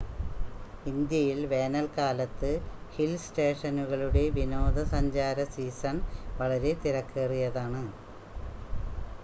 ഇന്ത്യയിൽ വേനൽക്കാലത്ത് ഹിൽ സ്റ്റേഷനുകളുടെ വിനോദസഞ്ചാര സീസൺ വളരെ തിരക്കേറിയതാണ്